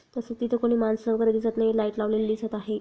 तस तिथे कोणी मानस वगैरे दिसत नहीं लाइट लावलेल दिसत आहे.